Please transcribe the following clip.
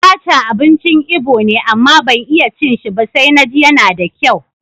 Abacha abincin Ibo ne, amma ban iya cin shi ba sai na ji yana da kyau.